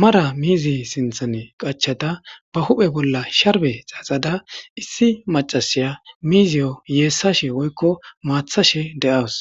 mara miizza sinththane qaachada ba huphphe bolla sharbe xaxada issi macasiya miiziyo yeessashe woykko maaththashe de'aws